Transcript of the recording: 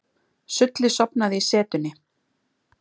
Stulli sofnaði í setunni.